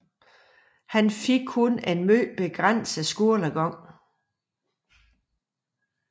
Han fik kun en meget begrænset skolegang